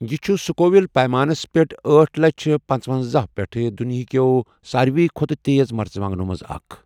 یہ چھُ سُکووِل پیمانس پٛٹھ آٹھ لچھَ پنژونَزہ پیٛٹھ دُنیاہ کیو ساروٕے کھۄتہٕ تیز مرژٕوانٛگنو منٛزٕ اکھ ۔